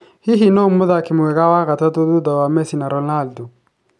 Hihi nũũ mũthaki mwega wa gatatũ thutha wa Messi na Ronaldo?